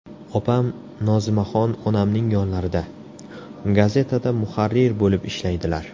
Opam Nozimaxon onamning yonlarida, gazetada muharrir bo‘lib ishlaydilar.